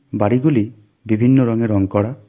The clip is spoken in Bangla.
বাড়িগুলি বিভিন্ন রঙে রঙ করা.